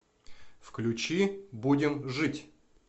включи будем жить